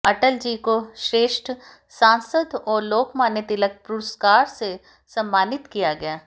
अटलजी को श्रेष्ठ सांसद और लोकमान्य तिलक पुरस्कार से भी सम्मानित किया गया